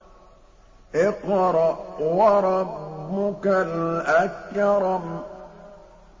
اقْرَأْ وَرَبُّكَ الْأَكْرَمُ